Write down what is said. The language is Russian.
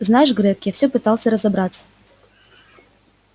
знаешь грег я все пытался разобраться